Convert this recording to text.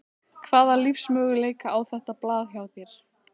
Hvaða lífsmöguleika á þetta blað hjá þér?